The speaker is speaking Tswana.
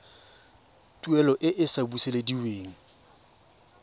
tuelo e e sa busediweng